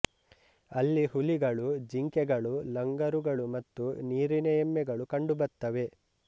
ಅಲ್ಲಿ ಹುಲಿಗಳು ಜಿಂಕೆಗಳು ಲಂಗರುಗಳು ಮತ್ತು ನೀರಿನ ಎಮ್ಮೆಗಳು ಕಂಡುಬತ್ತವೆ